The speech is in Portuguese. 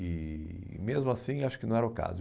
E e mesmo assim acho que não era o caso.